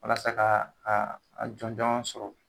Walasa kaa aa a jɔnjɔn sɔrɔ